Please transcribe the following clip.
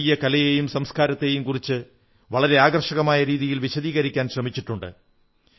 ഭാരതീയ കലയെയും സംസ്കാരത്തെയും കുറിച്ച് വളരെ ആകർഷകമായ രീതിയിൽ വിശദീകരിക്കാൻ ശ്രമിച്ചിട്ടുണ്ട്